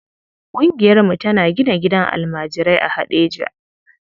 Ƙungiyarmu tana gina gidan almajirai a Heɗejia.